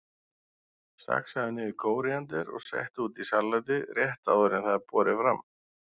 Saxaðu niður kóríander og settu út í salatið rétt áður en það er borið fram.